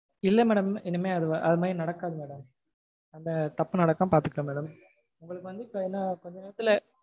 இல்ல madam. இனிமேல் அதுமாதிரி நடக்காது madam அந்த தப்பு நடக்காம பாத்துக்கறேன் madam. இல்ல